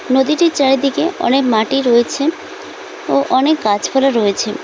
নদীটির চারিদিকে অনেক মাটি রয়েছে ও অনেক গাছপালা রয়েছে।